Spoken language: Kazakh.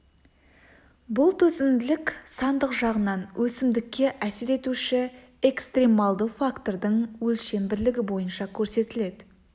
бұл төзімділік сандық жағынан өсімдікке әсер етуші экстремалды фактордың өлшем бірлігі бойынша көрсетіледі